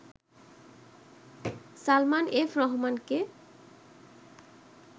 Salman F রহমানকে